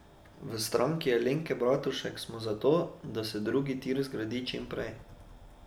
V Stranki Alenke Bratušek smo za to, da se drugi tir zgradi čim prej.